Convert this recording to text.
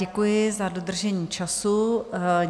Děkuji za dodržení času.